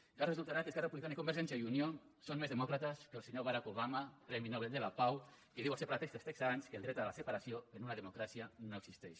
encara resultarà que esquerra republicana i convergència i unió són més demòcrates que el senyor barak obama premi nobel de la pau que diu als separatistes texans que el dret a la separació en una democràcia no existeix